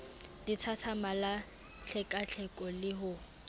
lethathama la tlhekatlheko le ho